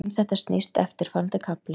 Um þetta snýst eftirfarandi kafli.